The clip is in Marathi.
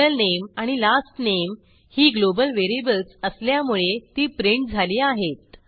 middle name आणि last name ही ग्लोबल व्हेरिएबल्स असल्यामुळे ती प्रिंट झाली आहेत